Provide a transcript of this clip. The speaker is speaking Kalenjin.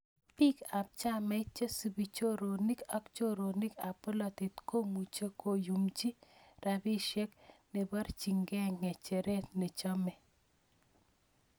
Biik ab chamait, chesubi, choronik ak chironok ab polatet komuchi koyumji rabisiek nebarchin ke ngecheret nechome.